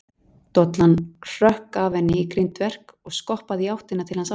Dollan hrökk af henni í grindverk og skoppaði í áttina til hans aftur.